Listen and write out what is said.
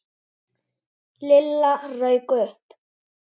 Lilla rauk upp.